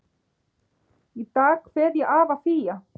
Í dag kveð ég afa Fía.